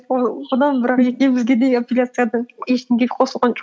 ой одан бірақ екеумізге де апелляциядан ештеңе қосылған жоқ